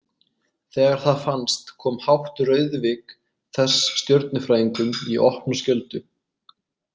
Þegar það fannst kom hátt rauðvik þess stjörnufræðingum í opna skjöldu.